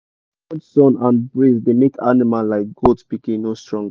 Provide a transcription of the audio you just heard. too much sun and breeze da make animal like goat pikin no strong